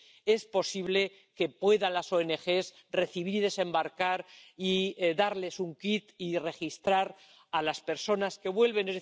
hace posible que las ONG puedan recibir, desembarcar y darles un kit y registrar a las personas que vuelven.